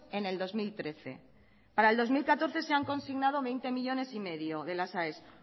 en el dos mil trece para el dos mil catorce se han consignado veinte millónes y medio para las aes